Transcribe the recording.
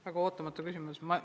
Väga ootamatu küsimus!